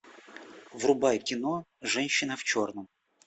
врубай кино женщина в черном